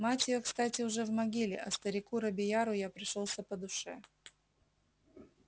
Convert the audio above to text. мать её кстати уже в могиле а старику робийяру я пришёлся по душе